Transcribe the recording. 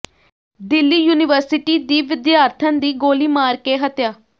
Delhi university ਦੀ ਵਿਦਿਆਰਥਣ ਦੀ ਗੋਲੀ ਮਾਰ ਕੇ ਹੱਤਿਆ